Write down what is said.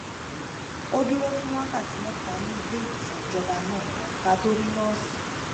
a dúró fún wákàtí méta ní ileiwosan ìjọba náà ká tó rí nóòsì